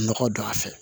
Nɔgɔ don a fɛ